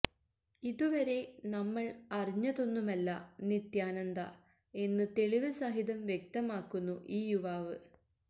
ഇതുവരെ നമ്മള് അറിഞ്ഞതൊന്നുമല്ല നിത്യാനന്ദ എന്ന് തെളിവ് സഹിതം വ്യക്തമാക്കുന്നു ഈ യുവാവ്